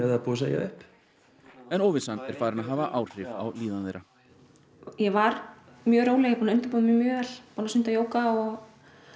það er búið að segja því upp en óvissan er farin að hafa áhrif á líðan þeirra ég var mjög róleg ég er búin að undirbúa mig mjög vel stunda jóga og